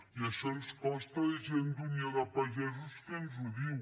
i això ens costa de gent d’unió de pagesos que ens ho diu